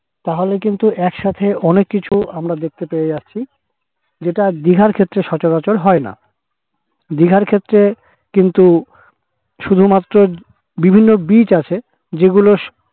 তাহলে কিন্তু এক সাথে অনেক কিছু আমরা দেখতে পেয়ে যাচ্ছি যেটা দিঘার ক্ষেত্রে সচরাচর হয় না দিঘার ক্ষেত্রে কিন্তু শুধুমাত্র বিভিন্ন বিচ আছে যেগুলো